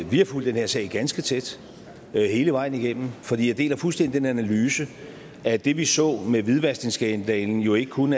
vi har fulgt den her sag ganske tæt hele vejen igennem for jeg deler fuldstændig den analyse at det vi så med hvidvaskningsskandalen jo ikke kun